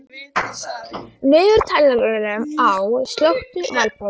Valborg, slökktu á niðurteljaranum.